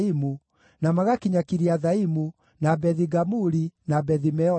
na magakinya Kiriathaimu, na Bethi-Gamuli, na Bethi-Meoni,